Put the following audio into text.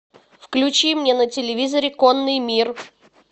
включи мне на телевизоре конный мир